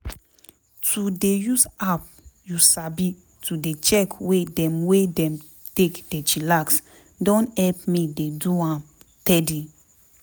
to dey use app you sabi to dey check way dem wey dem take dey chillax don help me dey do am teady.